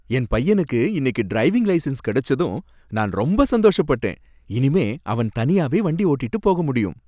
என் பையனுக்கு இன்னைக்கு driving licence கிடைச்சதும் நான் ரொம்ப சந்தோஷப்பட்டேன், இனிமே அவன் தனியாவே வண்டி ஓட்டிட்டு போக முடியும்.